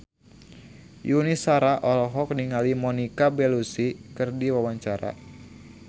Yuni Shara olohok ningali Monica Belluci keur diwawancara